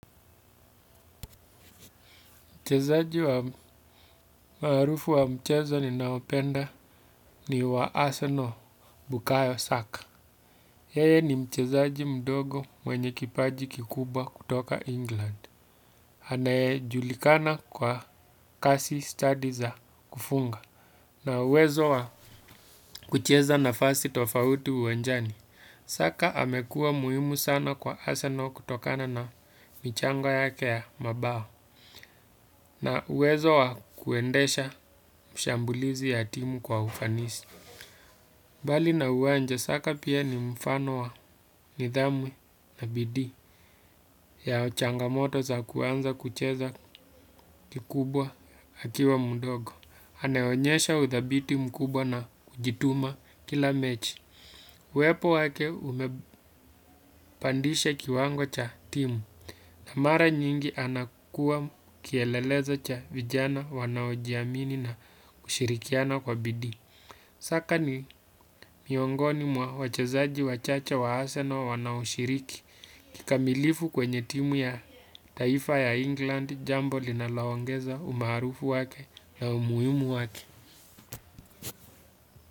Mchezaji wa maarufu wa mchezo ni naopenda ni wa Arsenal bukayo saka. Yeye ni mchezaji mdogo mwenye kipaji kikubwa kutoka England. Anayejulikana kwa kasi stadi za kufunga na uwezo wa kucheza na fasi tofauti uwanjani. Saka amekua muhimu sana kwa Arsenal kutokana na michango ya ke ya mabao. Na uwezo wa kuendesha mshambulizi ya timu kwa ufanisi bali na uwanja saka pia ni mfano wa nidhamu na bidii ya changamoto za kuanza kucheza kikubwa akiwa mdogo. Haneonyesha uthabiti mkubwa na kujituma kila mechi uwepo wake umepandisha kiwango cha timu na mara nyingi anakua kielelezo cha vijana wanaojiamini na kushirikiana kwa bidii. Saka ni miongoni mwa wachezaji wachache wa arsenal wanaoshiriki. Kikamilifu kwenye timu ya taifa ya England jambo linalo ongeza umaharufu wake na umuhimu wake.